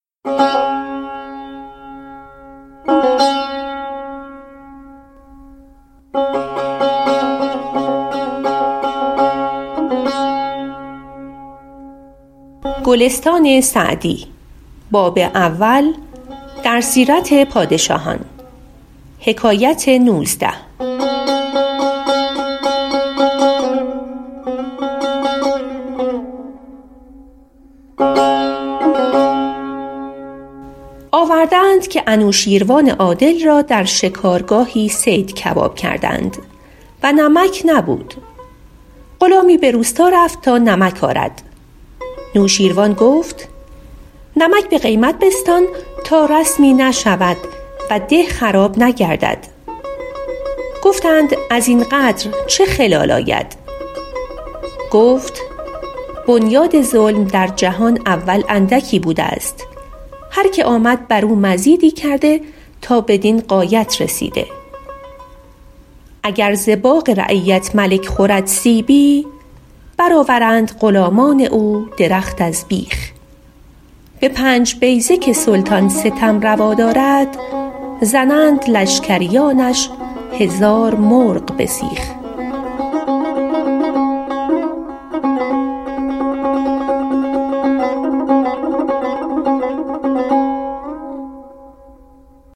آورده اند که نوشین روان عادل را در شکارگاهی صید کباب کردند و نمک نبود غلامی به روستا رفت تا نمک آرد نوشیروان گفت نمک به قیمت بستان تا رسمی نشود و ده خراب نگردد گفتند از این قدر چه خلل آید گفت بنیاد ظلم در جهان اول اندکی بوده است هر که آمد بر او مزیدی کرده تا بدین غایت رسیده اگر ز باغ رعیت ملک خورد سیبی بر آورند غلامان او درخت از بیخ به پنج بیضه که سلطان ستم روا دارد زنند لشکریانش هزار مرغ به سیخ